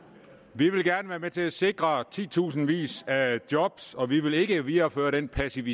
vi vil gerne være med til at sikre tusindvis af job og vi vil ikke videreføre den passive